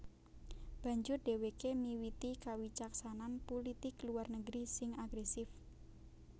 Banjur dhèwèké miwiti kawicaksanan pulitik luar negeri sing agrèsif